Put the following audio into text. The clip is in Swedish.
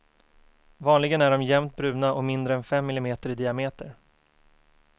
Vanligen är de jämnt bruna och mindre än fem millimeter i diameter.